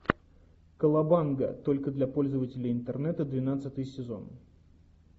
колобанга только для пользователей интернета двенадцатый сезон